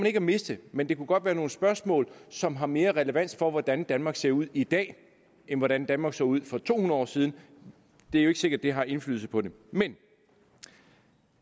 ikke at miste men det kunne godt være nogle spørgsmål som har mere relevans for hvordan danmark ser ud i dag end hvordan danmark så ud for to hundrede år siden det er jo ikke sikkert det har indflydelse på det men